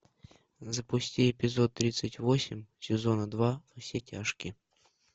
запусти эпизод тридцать восемь сезона два во все тяжкие